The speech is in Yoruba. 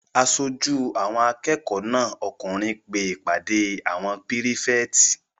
Aṣojú àwọn akẹ́kọ̀ọ́ náà okùnrin pe ìpàdé àwọn pírífẹ̀tì